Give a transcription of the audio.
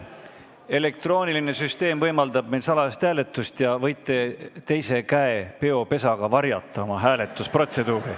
Elektrooniline süsteem võimaldab meil salajast hääletust ja te võite teise käe peopesaga varjata, kuidas te hääletate.